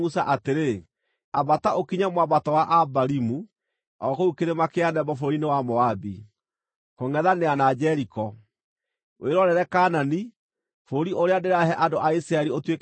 “Ambata, ũkinye mwambato wa Abarimu o, kũu kĩrĩma kĩa Nebo bũrũri-inĩ wa Moabi, kũngʼethanĩra na Jeriko, wĩrorere Kaanani, bũrũri ũrĩa ndĩrahe andũ a Isiraeli ũtuĩke igai rĩao.